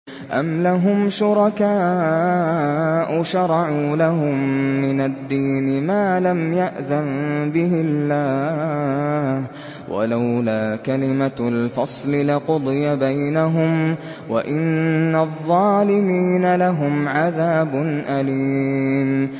أَمْ لَهُمْ شُرَكَاءُ شَرَعُوا لَهُم مِّنَ الدِّينِ مَا لَمْ يَأْذَن بِهِ اللَّهُ ۚ وَلَوْلَا كَلِمَةُ الْفَصْلِ لَقُضِيَ بَيْنَهُمْ ۗ وَإِنَّ الظَّالِمِينَ لَهُمْ عَذَابٌ أَلِيمٌ